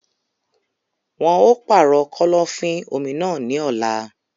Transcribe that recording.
Wọn á pàrọ̀ kọ́lọ́fín-omi náà ní ọ̀la.